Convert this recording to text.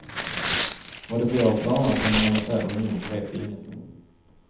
Vad det blir av planerna på en monetär union vet ingen.